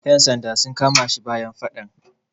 Yan sanda sun kama shi bayan faɗan.